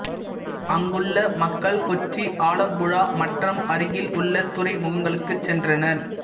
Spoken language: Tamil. அங்குள்ள மக்கள் கொச்சி ஆலம்புழா மற்றம் அருகில் உள்ள துறைமுகங்களுக்கு சென்றனர்